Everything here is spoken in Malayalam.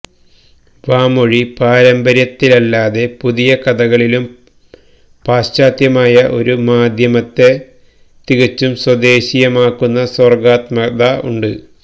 വാമൊഴി പാരമ്പര്യത്തിലല്ലാതെ പുതിയ കഥകളിലും പാശ്ചാത്യമായ ഒരു മാധ്യമത്തെ തികച്ചും സ്വദേശീയമാക്കുന്ന സർഗ്ഗാത്മകത ഉണ്ട്